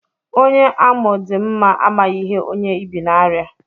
Onye amụ̀ dị mma amaghị ihe onye ibì n'arịa.